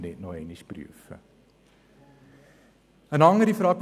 Wir müssen nicht noch einmal prüfen.